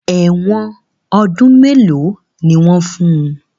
Èwọ̀n ọdún mélòó ni wọ́n fun?